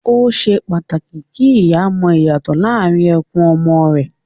Ó ṣe pàtàkì kí ìyá mọ ìyàtọ̀ láàrín ẹkún ọmọ rẹ